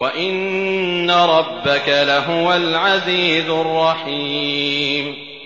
وَإِنَّ رَبَّكَ لَهُوَ الْعَزِيزُ الرَّحِيمُ